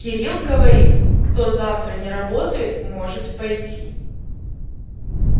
кирилл говорит кто завтра не работает может пойти